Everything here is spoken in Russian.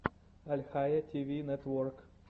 альхайя ти ви нетворк